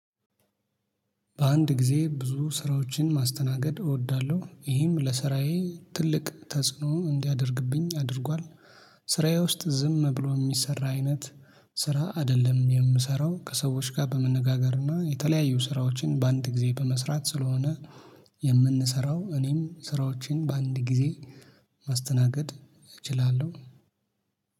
በአንድ ጊዜ ብዙ ስራዎችን ማስተናገድ እወዳለሁ ይህም ለስራዬ ትልቅ ተጽዕኖ እንዲያደርግብኝ አድርጓል። ስራዬ ውስጥ ዝም ብሎ የሚሰራ አይነት ስራ አይደለም የምሰራው ከሰዎች ጋር በመነጋገርና የተለያዩ ስራዎችን በአንድ ጊዜ በመስራት ስለሆነ። የምንሰራው እኔም ስራዎችን በአንድ ጊዜ ማስተናገድ እችላለሁ።